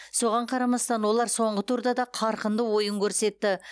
соған қарамастан олар соңғы турда да қарқынды ойын көрсетті